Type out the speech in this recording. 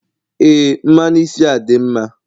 Ee mmanụ isi a dị mma.